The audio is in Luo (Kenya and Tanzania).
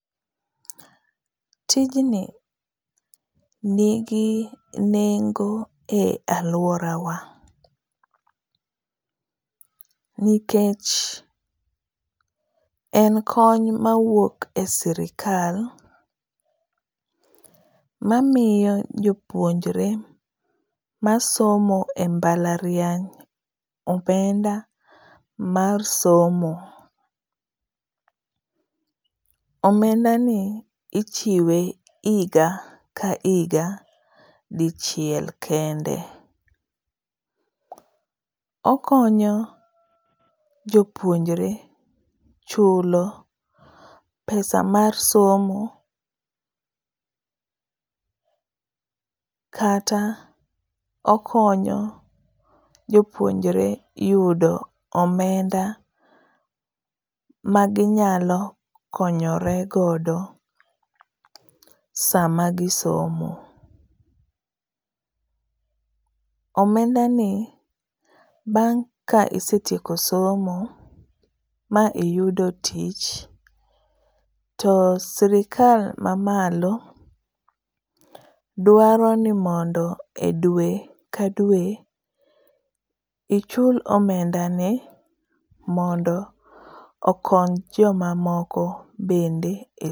Tijni nigi nengo e aluorawa nikech en kony mawuok e sirkal mamiyo jopuonjre masomo e mbalariany omenda mar somo. Omendani ichiwe higa ka higa dichiel kende. Okonyo jopuonjre chulo pesa mar somo kata okonyo jopuonjre yudo omenda maginyalo konyore godo ndalo magisomo. Omendani bang' ka isetieko somo ma iyudo tich to sirkal mamalo dwaro ni mondo e dwe ka dwe ichul omendani mondo okony joma moko be